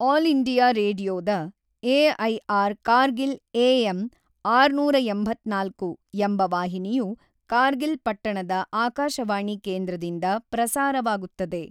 All India ರೇಡಿಯೊದ AIR Kargil AM ಆರುನೂರ ಎಂಬತ್ತ್ನಾಲ್ಕು ಎಂಬ ವಾಹಿನಿಯು ಕಾರ್ಗಿಲ್ ಪಟ್ಟಣದ ಆಕಾಶವಾಣಿ ಕೇಂದ್ರದಿಂದ ಪ್ರಸಾರವಾಗುತ್ತದೆ.